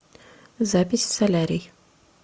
запись в солярий